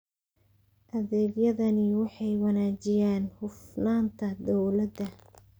Adeegyadani waxay wanaajiyaan hufnaanta dawladda.